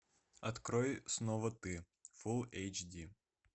открой снова ты фул эйч ди